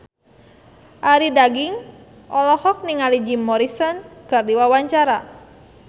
Arie Daginks olohok ningali Jim Morrison keur diwawancara